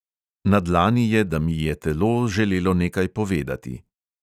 Na dlani je, da mi je telo želelo nekaj povedati.